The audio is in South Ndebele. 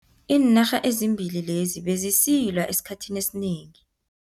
Iinarha ezimbili lezi bezisilwa esikhathini esinengi.